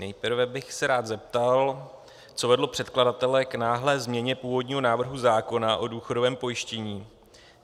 Nejprve bych se rád zeptal, co vedlo předkladatele k náhlé změně původního návrhu zákona o důchodovém pojištění.